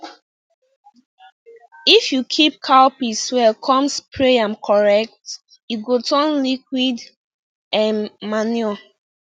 if you keep cow piss well con spray am correct e go turn to liquid um manure